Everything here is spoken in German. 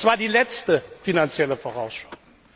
Das war die letzte Finanzielle Vorausschau.